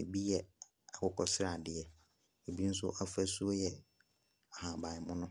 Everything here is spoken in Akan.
ebi yɛ akokɔ sradeɛ. Ebi nso afasuo yɛ ahaban mono.